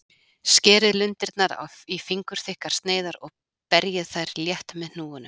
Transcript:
Skerið lundirnar í fingurþykkar sneiðar og berjið þær létt með hnúunum.